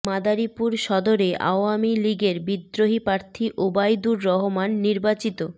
মাদারীপুর সদরে আওয়ামী লীগের বিদ্রোহী প্রার্থী ওবাইদুর রহমান নির্বাচিত